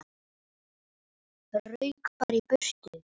Rauk bara í burtu.